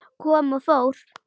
Kom og fór.